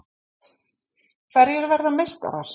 Hverjir verða meistarar?